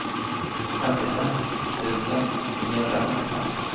femtiofem tusen niohundrasjuttiofem